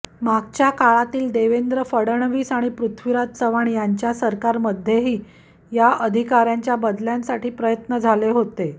मागच्या काळातील देवेंद्र फडणवीस आणि पृथ्वीराज चव्हाण यांच्या सरकारमध्येही या अधिकाऱ्यांच्या बदल्यांसाठी प्रयत्न झाले होते